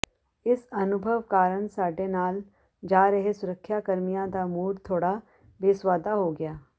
ਇਸ ਅਨੁਭਵ ਕਾਰਣ ਸਾਡੇ ਨਾਲ ਜਾ ਰਹੇ ਸੁਰੱਖਿਆ ਕਰਮੀਆਂ ਦਾ ਮੂਡ ਥੋੜਾ ਬੇਸੁਆਦਾ ਹੋ ਗਿਆ